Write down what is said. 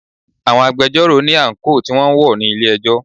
Àwọn agbẹjọ́rò ní àńkò tí wọn ń wọ̀ ní ilé ẹjọ́.